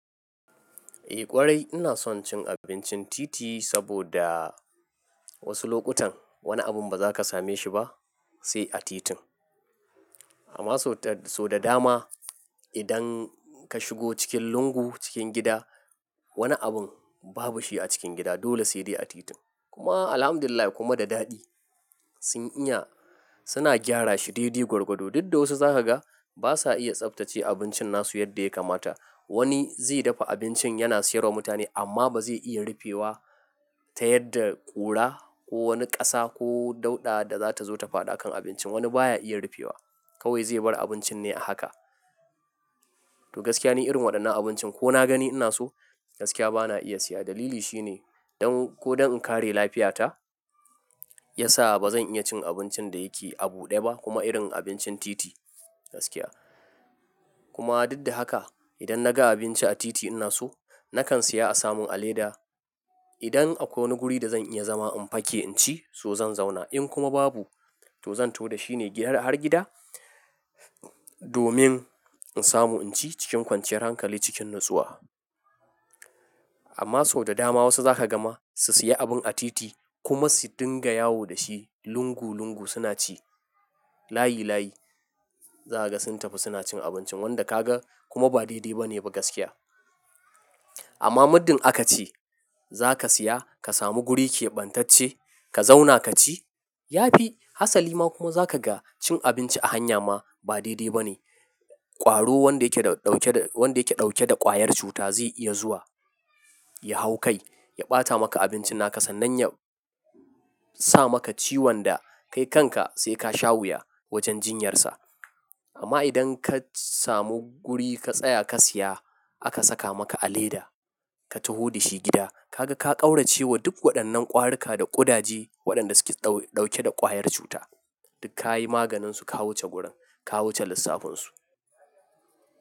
Eh ƙwarai ina son cin abincin titi saboda wasu lokutan wani abun ba za ka same shi ba sai a titin. Amma so da dama idan ka shigo cikin lungu cikin gida wani abun babu shi a cikin gida dole sai dai a titin. Kuma Alhamdulillah kuma da daɗi sin iya suna gyara shi daidai gwargwado. Duk da wasu za ka ga basa iya tsabtace abincin nasu yadda ya kamata. Wani zai dafa abincin yana siyarwa mutane amma ba zai iya rufewa ta yadda ƙura ko wani ƙasa ko dauɗa da zata zo ta fada akan abincin wani baya iya rufewa kawai zai bar abincin ne a haka. To gaskiya ni irin waɗannan abincin ko na gani ina so gaskiya bana iya siya dalili shine don ko don in kare lafiyata. Ya sa bazan iya cin abincin da yake a buɗe ba kuma irin abincin titi gaskiya. Kuma duk da haka idan naga abinci a titi ina so nakan siya a samun a leda. Idan akwai wani guri da zan iya zama in fake in ci so zan zauna. In kuma babu to zan to da shi ne har gida domin in samu in ci cikin kwanciyar hankali cikin natsuwa. Amma so da dama wasu za ka gama su siya abun a titi kuma su dinga yawo da shi lungu lungu suna ci layi layi. Za ka ga sun tafi suna cin abincin wanda ka ga kuma ba daidai ba ne ba gaskiya. Amma muddan aka ce za ka siya ka samu guri keɓantacce ka zauna ka ci yafi hasali ma kuma za ka ga cin abinci a hanya ma ba daidai ba ne. Kwaro wanda yake dauke da ƙwayar cuta zai iya zuwa ya hau kai ya ɓata maka abincin naka sannan ya sa maka ciwon da kai kanka sai ka sha wuya wajen jinyarsa. Amma idan ka samu guri ka tsaya ka siya aka saka maka a leda ka tahu da shi gida ka ga ka ƙaurace wa duk waɗannan ƙwarika da ƙudaje waɗanda suke dauke da ƙwayar cuta. Duk ka yi maganinsu ka wuce gurin ka wuce lissafinsu.